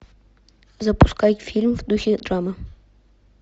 запускай фильм в духе драмы